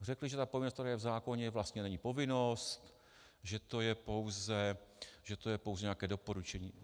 Řekli, že ta povinnost, která je v zákoně, vlastně není povinnost, že to je pouze nějaké doporučení.